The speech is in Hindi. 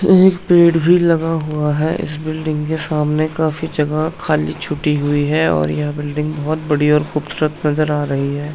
एक पेड़ भी लगा हुआ है इस बिल्डिंग के सामने काफी जगह खाल्ली छूटी हुई है और यह बिल्डिंग बहोत बड़ी और खूबसूरत नजर आ रही है।